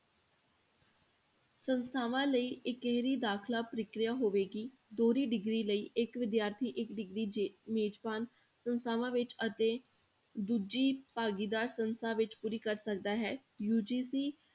ਸੰਸਥਾਵਾਂ ਲਈ ਇਕਹਰੀ ਦਾਖਲਾ ਪ੍ਰਕਿਰਿਆ ਹੋਵੇਗੀ, ਦੋਹਰੀ degree ਲਈ ਇੱਕ ਵਿਦਿਆਰਥੀ ਇੱਕ degree ਜੇ ਮੇਜ਼ਬਾਨ ਸੰਸਥਾਵਾਂ ਵਿੱਚ ਅਤੇ ਦੂਜੀ ਭਾਗੀਦਾਰੀ ਸੰਸਥਾ ਵਿੱਚ ਪੂਰੀ ਕਰ ਸਕਦਾ ਹੈ UGC